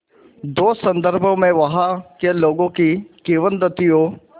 दो संदर्भों में वहाँ के लोगों की किंवदंतियों